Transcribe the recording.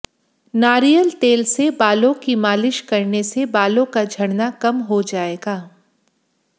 नारियल तेल से बालों की मालिश करने से बालों का झड़ना कम हो जाएगा